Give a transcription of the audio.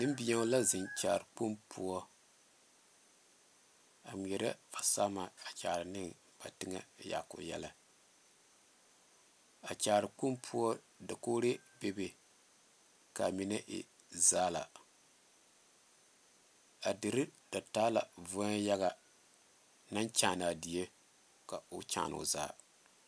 Nenbɛéo la zeŋ kyaare kpoŋ poɔ a ŋmɛɛre fasama a kyaane ba teŋa yaako yɛllɛ a kyaare kpoŋ poɔ dakogre bebe kaa mine e zaala a dire da taa la voɛ yaga naŋ kyaane die ko kyaane yaga.